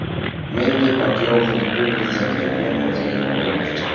Menni Pakyao Filippin prezidentligiga nomzodini qo‘ymoqchi.